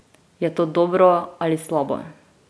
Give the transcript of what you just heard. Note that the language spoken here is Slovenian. Je to dobro ali slabo?